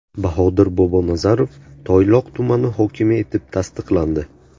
Bahodir Bobonazarov Toyloq tumani hokimi etib tasdiqlandi.